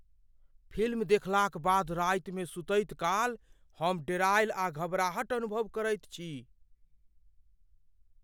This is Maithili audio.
फिल्म देखलाक बाद रातिमे सुतैत काल हम डेरेल आ घबराहट अनुभव करैत छी।